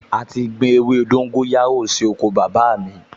A ti gbin ewé dóńgóyárò sí oko bàbá mi